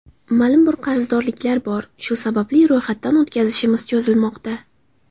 Ma’lum bir qarzdorliklar bor, shu sababli ro‘yxatdan o‘tkazishimiz cho‘zilmoqda.